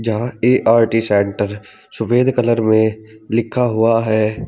जहा A R T centre सफेद colour में लिखा हुआ है।